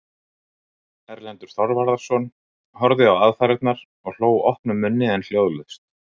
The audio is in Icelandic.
Erlendur Þorvarðarson horfði á aðfarirnar og hló opnum munni en hljóðlaust.